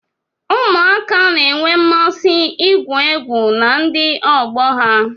Ụmụaka na-enwe mmasị igwu egwu na ndị ọgbọ ha